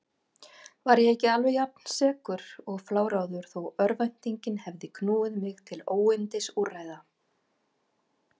Var ég ekki alveg jafnsekur og fláráður þó örvæntingin hefði knúið mig til óyndisúrræða?